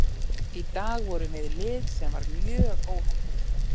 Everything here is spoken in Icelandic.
Í dag vorum við lið sem var mjög óheppið.